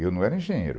Eu não era engenheiro.